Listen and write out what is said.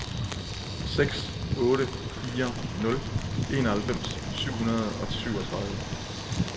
seks otte fire nul enoghalvfems syv hundrede og syvogtredive